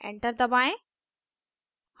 enter दबाएं